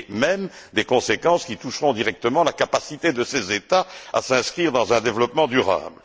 Y compris des conséquences qui toucheront directement la capacité de ces États à s'inscrire dans un développement durable.